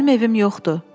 Mənim evim yoxdur.